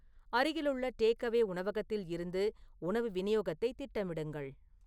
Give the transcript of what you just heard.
அருகிலுள்ள டேக்அவே உணவகத்தில் இருந்து உணவு விநியோகத்தை திட்டமிடுங்கள்